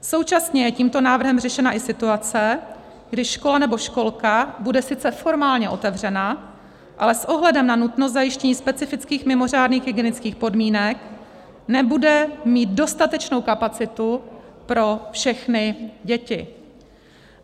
Současně je tímto návrhem řešena i situace, kdy škola nebo školka bude sice formálně otevřena, ale s ohledem na nutnost zajištění specifických mimořádných hygienických podmínek nebude mít dostatečnou kapacitu pro všechny děti.